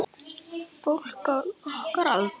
Fólk á okkar aldri.